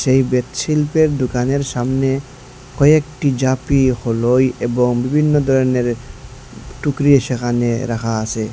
এই বেত শিল্পের দোকানের সামনে কয়েকটি ঝাঁপি হলোই এবং বিভিন্ন ধরনের টুকরি সেখানে রাখা আসে।